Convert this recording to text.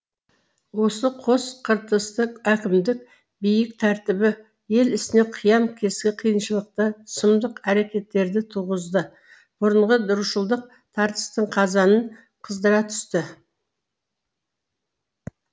осы қос қыртысты әкімдік биік тәртібі ел ісіне қиян кескі қайшылықты сұмдық әрекеттерді туғызды бұрынғы рушылдық тартыстың қазанын қыздыра түсті